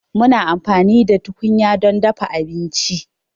Muna amfani da tukunya don dafa abinci.